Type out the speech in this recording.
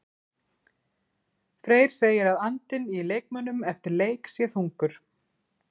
Freyr segir að andinn í leikmönnum eftir leik sé þungur.